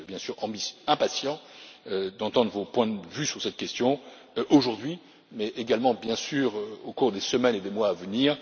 Je suis bien sûr impatient d'entendre vos points de vue sur cette question aujourd'hui, mais également, bien sûr, au cours des semaines et des mois à venir.